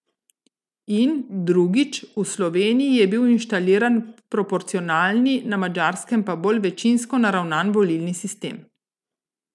In, drugič, v Sloveniji je bil inštaliran proporcionalni, na Madžarskem pa bolj večinsko naravnan volilni sistem.